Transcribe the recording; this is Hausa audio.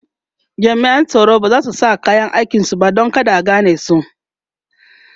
jami'an tsaron bazasu sa kayan aikin su ba Dan kada a ganesu